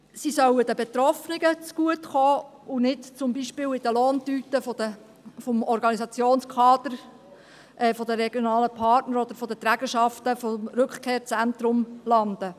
Sie sollen den Betroffenen zugutekommen und nicht zum Beispiel in den Lohntüten des Organisationskaders der regionalen Partner oder der Trägerschaften des Rückkehrzentrums landen.